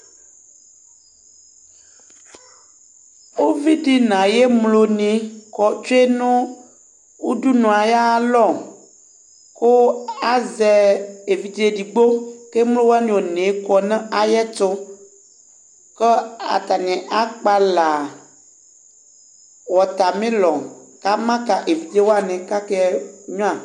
Uvi di na ayé mlonikɔ tsoé nu udunu ayaloku azɛ évidjé édigbo ké émlo wani oné kɔ nu ayɛtu kɔ atani akpala wɔtamilɔ ka ama kë évidjé wani kaké gnua